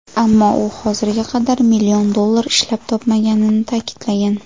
Ammo u hozirga qadar million dollar ishlab topmaganini ta’kidlagan.